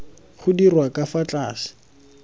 go dirwa ka fa tlase